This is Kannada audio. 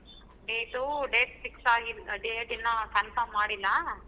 Date ಉ date fix ಆಗಿಲ್ಲಾ. date ಇನ್ನಾ confirm ಮಾಡಿಲ್ಲ.